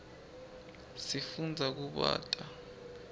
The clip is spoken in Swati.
sifundza kubata